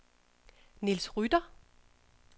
Niels Rytter